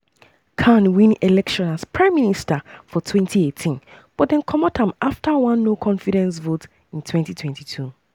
khan win election as prime minister for 2018 but dem comot am afta um one no-confidence vote in 2022.